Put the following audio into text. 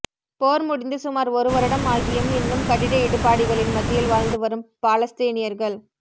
போர் முடிந்து சுமார் ஒரு வருடம் ஆகியும் இன்னும் கட்டிட இடிபாடுகளின் மத்தியில் வாழ்ந்து வரும் பாலஸ்தீனியர்கள்